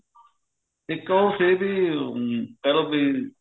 ਇੱਕ ਉਹ ਸੀ ਵੀ ਅਮ ਕਹਿਲੋ ਵੀ